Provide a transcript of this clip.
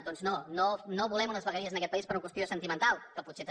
doncs no no volem unes vegueries en aquest país per una qüestió sentimental que potser també